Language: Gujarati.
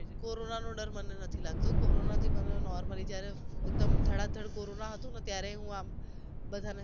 કોરોના નો ડર મને નથી લાગતો કોરોના થી મને normally જયારે એકદમ ધડાધડ કોરોના હતો ને ત્યારેય હું આમ બધાં ને